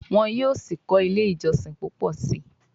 Wan sí kò ilé ìjósìn púpọ sí.